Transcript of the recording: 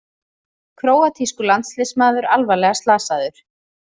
Króatískur landsliðsmaður alvarlega slasaður